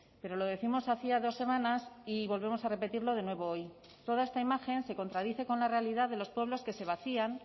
pero lo décimos hacía dos semanas y volvemos a repetirlo de nuevo hoy toda esta imagen se contradice con la realidad de los pueblos que se vacían